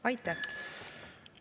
Aitäh!